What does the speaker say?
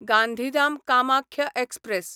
Gandhidham Kamakhya express